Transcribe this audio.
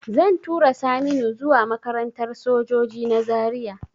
Zan tura Saminu zuwa makarantar sojoji na Zaria